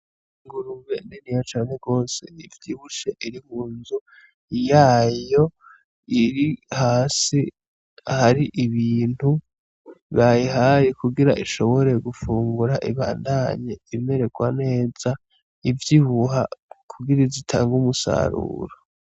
Ingurube niniya cane gose ivyibushe iri munzu yayo, iri hasi hari ibintu bayihaye kugira ishobora gufungura ibandanye imererwa neza ivyibuha kugira ize itange umusaruro.